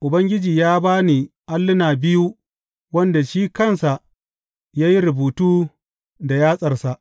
Ubangiji ya ba ni alluna biyu wanda shi kansa ya yi rubutu da yatsarsa.